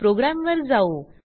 प्रोग्रॅमवर जाऊ